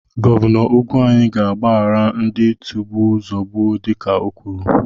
Gọvanọ Ugwuanyi ga-agbaghara ndị tigbuo zogbuo dịka ọ kwuru.